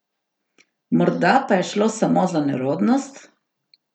Morda pa je šlo samo za nerodnost?